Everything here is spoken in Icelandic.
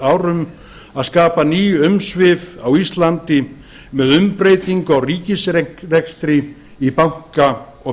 árum að skapa ný umsvif á íslandi með umbreytingu á ríkisrekstri í banka og